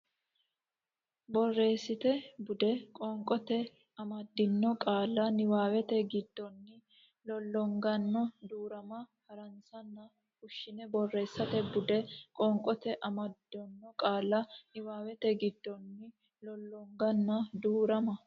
Borreessate Bude Qoonqote amaddino qaalla niwaawete giddonni Lollonganna Duu rama hansanni fushshino Borreessate Bude Qoonqote amaddino qaalla niwaawete giddonni Lollonganna Duu rama.